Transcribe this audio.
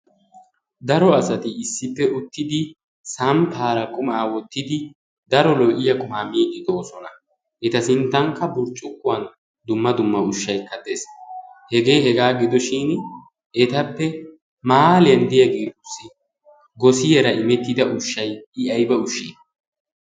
Dara asatti issippe uttiddi samppara qummaa wottiddi daro lo"iyaa qummaa miiddi doossana. Etta sinttankka burccukuwan dumma dumma ushshaykka dees, hegee hega gidoshshin ettappe 'mahaalliyan' de'iyaagettussi gossiyara imettidda ushshay i ayibba ushshe?